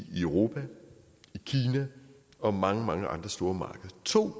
i europa i kina og mange mange andre store markeder to